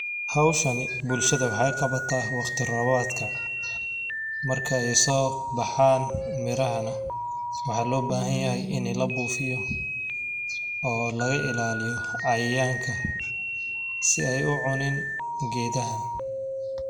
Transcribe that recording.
Howshani bulshada waxay qabata waqti robadka, markay sobaxan miraha nah waxa lobahanyahay ini labufiyo oo laga ilaliyo cayayanka si ay ucunin gedaha.